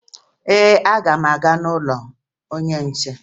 Ee, aga m aga n'ụlọ onye nche